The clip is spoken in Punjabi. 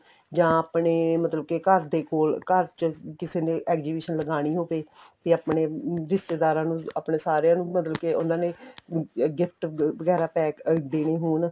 ਜਾਂ ਆਪਣੇ ਮਤਲਬ ਕੇ ਘਰ ਦੇ ਕੋਲ ਘਰ ਚ ਕਿਸੇ ਨੇ exhibition ਲਗਾਣੀ ਹੋਵੇ ਤੇ ਆਪਣੇ ਰਿਸ਼ਤੇਦਾਰਾ ਨੂੰ ਆਪਣੇ ਸਾਰਿਆਂ ਨੂੰ ਮਤਲਬ ਕੇ ਉਹਨਾ ਨੇ gift ਵਗੈਰਾ pack ਦੇਣੇ ਹੋਣ